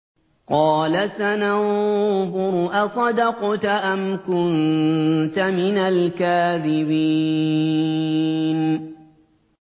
۞ قَالَ سَنَنظُرُ أَصَدَقْتَ أَمْ كُنتَ مِنَ الْكَاذِبِينَ